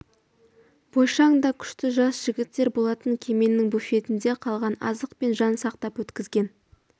бойшаң да күшті жас жігіттер болатын кеменің буфетінде қалған азықпен жан сақтап өткізген